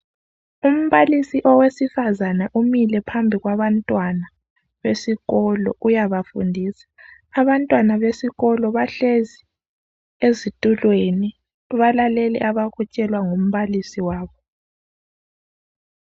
Umbalisi owesifazane umile phambi kwabantwana besikolo uyabafundisa. Abantwna besikolo bahlezi ezitulweni balalele abakutshelwa ngumbalisi wabo.